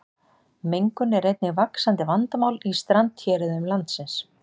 mengun er einnig vaxandi vandamál í strandhéruðum landsins